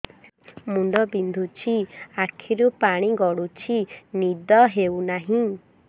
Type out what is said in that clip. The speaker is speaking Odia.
ମୁଣ୍ଡ ବିନ୍ଧୁଛି ଆଖିରୁ ପାଣି ଗଡୁଛି ନିଦ ହେଉନାହିଁ